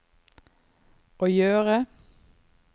å gjøre